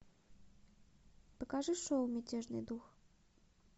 покажи шоу мятежный дух